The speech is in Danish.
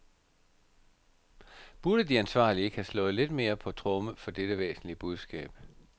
Burde de ansvarlige ikke have slået lidt mere på tromme for dette væsentlige budskab.